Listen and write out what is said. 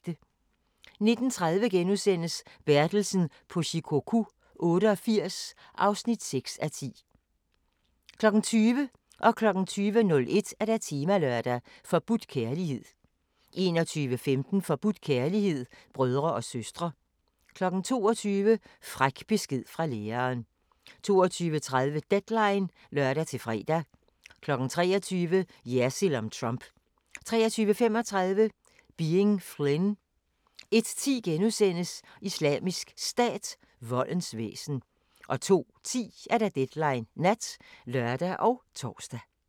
19:30: Bertelsen på Shikoku 88 (6:10)* 20:00: Temalørdag: Forbudt kærlighed 20:01: Temalørdag: Forbudt kærlighed 21:15: Forbudt kærlighed – brødre og søstre 22:00: Fræk besked fra læreren 22:30: Deadline (lør-fre) 23:00: Jersild om Trump 23:35: Being Flynn 01:10: Islamisk Stat – voldens væsen * 02:10: Deadline Nat (lør og tor)